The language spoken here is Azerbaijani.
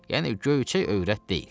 Yəni göyçək övrət deyil.